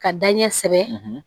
Ka da ɲɛ kosɛbɛ